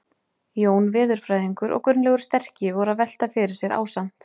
Jón veðurfræðingur og Gunnlaugur sterki voru að velta fyrir sér ásamt